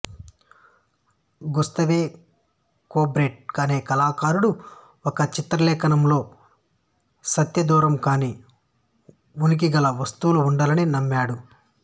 Gustave Courbet అనే కళాకారుడు ఒక చిత్రలేఖనం లో సత్యదూరం కాని ఉనికిగల వస్తువులు ఉండాలని నమ్మాడు